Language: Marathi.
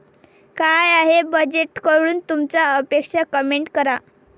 काय आहे बजेटकडून तुमच्या अपेक्षा, कमेंट करा